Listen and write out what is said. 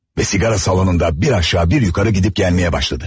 Və siqaret salonunda bir aşağı, bir yuxarı hərəkət etməyə başladı.